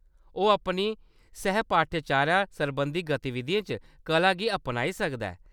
ओह्‌‌ अपनी सैह्-पाठ्यचारा सरबंधी गतिविधियें च कला गी अपनाई सकदा ऐ।